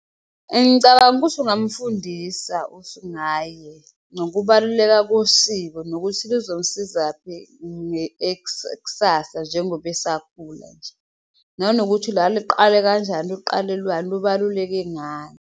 Ngicabanga ukuthi ungamfundisa usingaye nokubaluleka kosiko nokuthi luzomsizaphi ksasa njengoba esakhula nje, nanokuthi lwaluqale kanjani, luqalelwani, lubaluleke ngani.